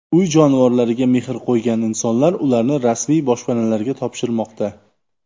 Uy jonivoriga mehr qo‘ygan insonlar ularni rasmiy boshpanalarga topshirmoqda.